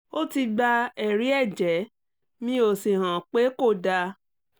ó ti gba ẹ̀rí ẹ̀jẹ̀ mi ó sì hàn pé kò dáa